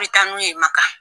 I bɛ taa n'u ye Makan!